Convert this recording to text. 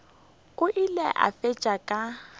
o ile a fetša ka